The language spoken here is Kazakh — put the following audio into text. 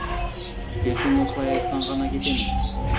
ертең осылай айтсаң ғана кетемін